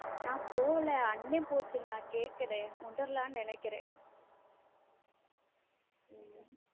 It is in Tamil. நான் போகல அண்ணன் போச்சே நான் கேட்கிறேன் wonderla நினைக்கிறேன்.